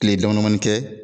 Tile damadamanin kɛ